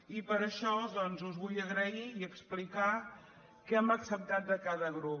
i per això doncs us vull agrair i explicar què hem ac·ceptat de cada grup